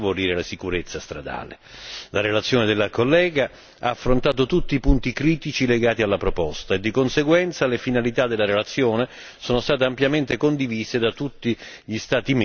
La relazione della collega ha affrontato tutti i punti critici legati alla proposta e di conseguenza le finalità della relazione sono state ampiamente condivise da tutti gli Stati membri in seno al Consiglio.